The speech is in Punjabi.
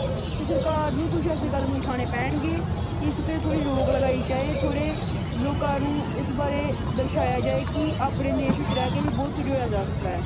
ਤੇ ਸਰਕਾਰ ਨੂੰ ਕੁੱਝ ਏਸੇ ਕਦਮ ਉਠਾਣੇ ਪੈਣਗੇ ਕਿ ਇਸ ਉੱਤੇ ਥੌੜ੍ਹੀ ਰੋਕ ਲਗਾਈ ਜਾਏ। ਥੋੜ੍ਹੇ ਲੋਕਾਂ ਨੂੰ ਬਾਰੇ ਦਰਸਾਇਆ ਜਾਏ ਕੀ ਆਪਣੇ ਦੇਸ਼ ਵਿੱਚ ਰਹਿ ਕੇ ਵੀ ਬਹੁਤ ਕੁੱਝ ਹੋਇਆ ਜਾ ਸਕਦਾ।